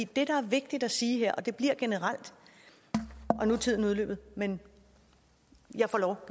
det der er vigtigt at sige her og det bliver generelt nu er tiden udløbet men jeg får lov